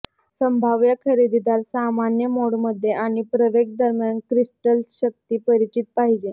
संभाव्य खरेदीदार सामान्य मोड मध्ये आणि प्रवेग दरम्यान क्रिस्टल्स शक्ती परिचित पाहिजे